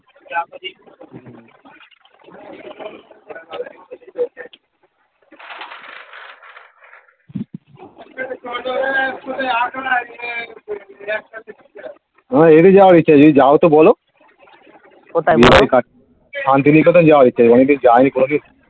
আমার এড়িয়ে যাওয়ার ইচ্ছা আছে যদি যাও তো বোলো শান্তিনিকেতন যাওয়ার ইচ্ছা আছে আমি তো যাই নি কোনোদিন